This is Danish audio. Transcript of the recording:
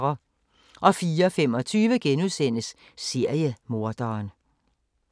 04:25: Seriemorderen *